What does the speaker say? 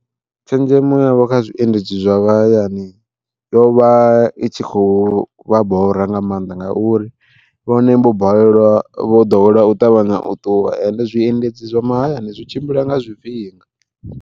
Tshenzhemo yavho kha zwiendedzi zwa vha hayani, yo vha i tshi khou vha bora nga maanḓa ngauri vhone vho balelwa vho ḓowela u ṱavhanya u ṱuwa ende zwiendedzi zwo mahayani zwi tshimbila nga zwifhinga.